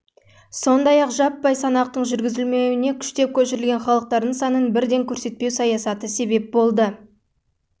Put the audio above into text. сондай-ақ жаппай санақтың жүргізілмеуіне күштеп көшірілген халықтардың санын бірден көрсетпеу саясаты себеп болды